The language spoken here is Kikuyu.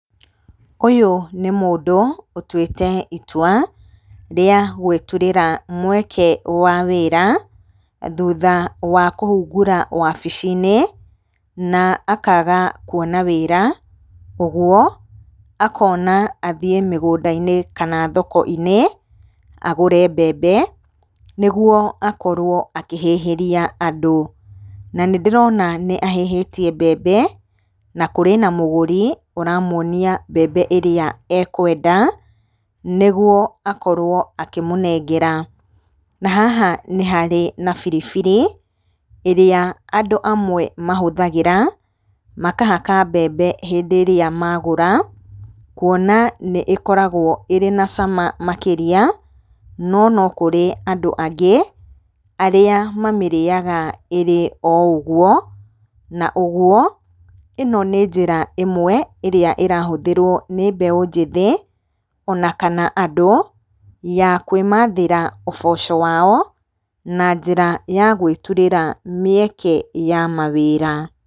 Ũyũ nĩ mũndũ, ũtwĩte itwa rĩa gwĩturĩra mweke wa wĩra, thutha wa kũhungũra wabici-inĩ, na akaga kuona wĩra, ũguo akona athiĩ mĩgũnda-inĩ kana thoko-inĩ, agũre mbembe, nĩguo akorwo akĩhĩhĩria andũ. Na nĩ ndĩrona nĩ ahĩhĩtie mbembe, na kũrĩ na mũgũri ũramuonia mbembe ĩrĩa ekwenda, nĩguo akorwo akĩmũnengera. Na haha nĩharĩ na biribiri, ĩrĩa andũ amwe mahũthagĩra, makahaka mbembe hĩndĩrĩa magũra, kuona nĩ ĩkoragwo ĩrĩ na cama makĩria, no no kũrĩ andũ angĩ, arĩa mamĩrĩyaga ĩrĩ o ũguo, na ũguo, ĩno nĩ njĩra ĩmwe, ĩrĩa ĩrahũthĩrwo nĩ mbeũ njĩthĩ, ona kana andũ, ya kwĩmathĩra ũboco wao, na njĩra ya gwĩturĩra mĩeke ya mawĩra.